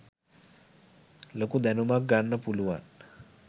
ලොකු දැනුමක් ගන්න පුළුවන්.